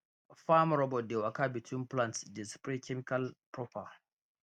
farm robot dey waka between plants dey spray chemical proper